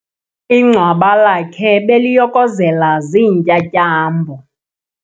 Ingcwaba lakhe beliyokozela ziintyatyambo.